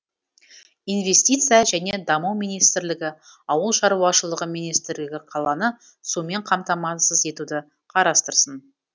инвестиция және даму министрлігі ауыл шаруашылығы министрлігі қаланы сумен қамтамасыз етуді қарастырсын